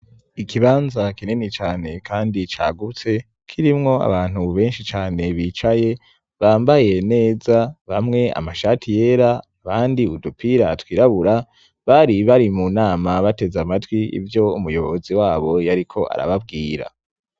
Ikibanza kinini cyane kandi cyagutse kirimwo abantu bu benshi cane bicaye bambaye neza bamwe amashati yera abandi udupira twirabura bari bari mu nama bateze amatwi ibyo umuyobozi wabo yariko arababwira.